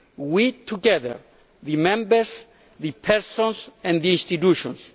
We together, the Members, the persons and the institutions